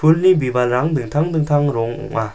ulni bibalrang dingtang dingtang rong ong·a.